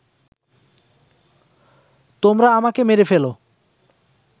তোমরা আমাকে মেরে ফেল